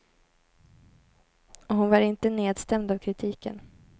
Och hon var inte nedstämd av kritiken.